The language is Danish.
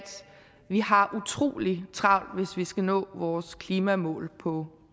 vi har utrolig travlt hvis vi skal nå vores klimamål på